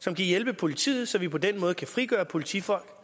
som kan hjælpe politiet så vi på den måde kan frigøre politifolk